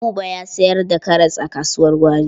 Buba ya sayar da karas a kasuwar gwari.